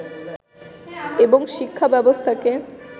এবং শিক্ষা ব্যবস্থাকে